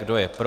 Kdo je pro?